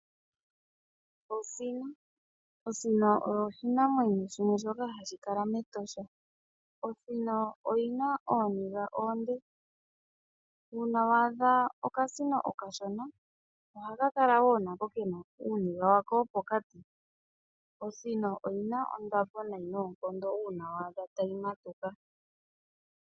Osino osho oshinamwenyo shono hashi kala mEtosha. Osino oyina ooniga oonde uuna waadha okasino okashona oha kakala kena uuniga wawo wopokati. Osino oyina ondapo noonkondo uuna waadha tayi tondoka.